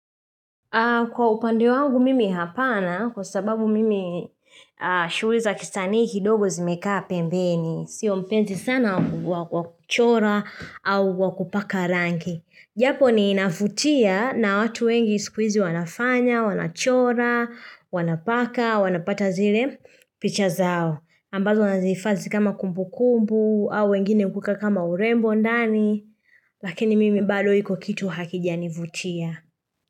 Kwa upande wangu mimi hapana kwa sababu mimi shuweza kisanii kidogo zimekaa pembeni. Sio mpenzii sana wakuchora au wakupaka rangi. Japo ni inafutia na watu wengi sikuizi wanafanya, wanachora, wanapaka, wanapata zile picha zao. Ambazo nazihifadhi kama kumbu kumbu au wengine kukaa kama urembo ndani. Lakini mimi balo iko kitu hakijani vutia.